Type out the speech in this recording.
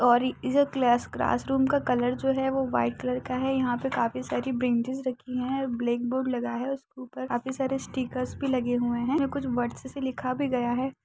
और ई जो क्लेस क्लास रूम का कलर जो है वो वाईट कलर का है। यहा पे काफी सारी बेंचेस रखी हैं ब्लेक बोर्ड लगा है उसके ऊपर काफी सारे स्टिकर्स भी लगे हुए हैं। उसमे कुछ वर्ड्स से लिखा भी गया है।